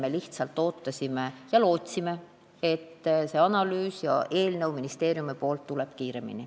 Me lihtsalt ootasime ja lootsime, et see analüüs ja eelnõu ministeeriumist tuleb kiiremini.